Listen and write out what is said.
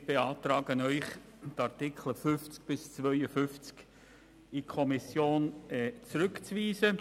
Wir beantragen, die Artikel 50 bis 52 an die Kommission zurückzuweisen.